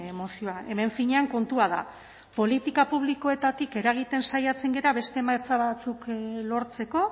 mozioa hemen finean kontua da politika publikoetatik eragiten saiatzen gara beste emaitza batzuk lortzeko